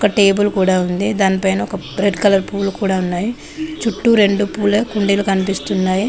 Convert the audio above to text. Table కూడా ఉంది దాని పైన ఒక రెడ్ కలర్ పూలు కూడా ఉన్నాయి చుట్టూ రెండు పూల కుండీలు కనిపిస్తున్నాయి.